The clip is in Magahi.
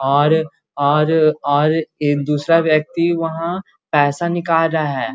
और और और एक दूसरा व्यक्ति वहां पैसा निकाल रहा है।